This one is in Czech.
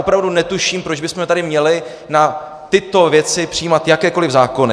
Opravdu netuším, proč bychom tady měli na tyto věci přijímat jakékoliv zákony.